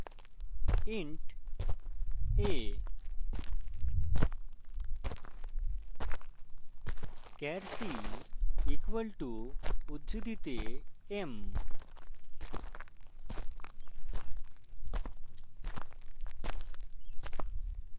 int a char c equal to উদ্ধৃতি চিনহে m;